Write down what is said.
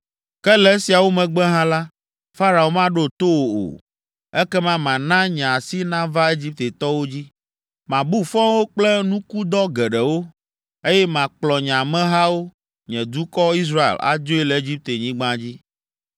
Ke le esiawo megbe hã la, Farao maɖo to wò o. Ekema mana nye asi nava Egiptetɔwo dzi, mabu fɔ wo kple nukudɔ geɖewo, eye makplɔ nye amehawo, nye dukɔ, Israel, adzoe le Egiptenyigba dzi.